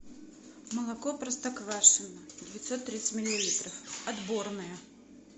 молоко простоквашино девятьсот тридцать миллилитров отборное